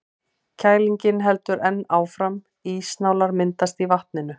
Kælingin heldur enn áfram, ísnálar myndast í vatninu.